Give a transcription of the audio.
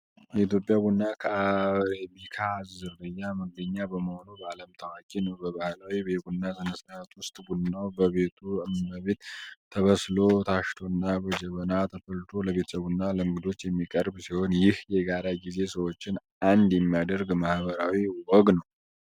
የኢትዮጵያ ቡና ከአረቢካ ዝርያ መገኛ በመሆኑ በዓለም ታዋቂ ነው። በባህላዊ የቡና ሥነ-ሥርዓት ውስጥ፣ ቡናው በቤቱ እመቤት ተበስሎ፣ ታሽቶና በጀበና ተፈልቶ ለቤተሰብና ለእንግዶች የሚቀርብ ሲሆን፣ ይህ የጋራ ጊዜ ሰዎችን አንድ የሚያደርግ ማኅበራዊ ወግ ነው።